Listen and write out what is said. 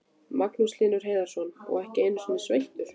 Magnús Hlynur Hreiðarsson: Og ekki einu sinni sveittur?